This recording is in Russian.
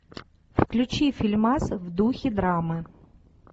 включи фильмас в духе драмы